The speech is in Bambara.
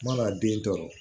N mana den tɔɔrɔ